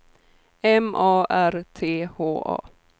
M A R T H A